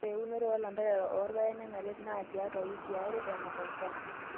Ore eunoto oolanterera oorpaek nenare naa tiatwa wikii aree eng'or enchan.